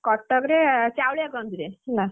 କଟକରେ ଚାଉଳିଆଗଞ୍ଜରେ, ହେଲା!